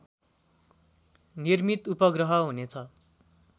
निर्मित उपग्रह हुनेछ